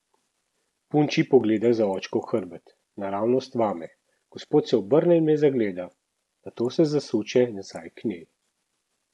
Punči pogleda za očkov hrbet, naravnost vame, gospod se obrne in me zagleda, nato se zasuče nazaj k njej.